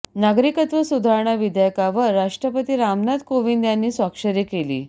नागरिकत्व सुधारणा विधेयकावर राष्ट्रपती रामनाथ कोविंद यांनी स्वाक्षरी केली